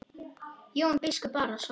Og Jón biskup Arason.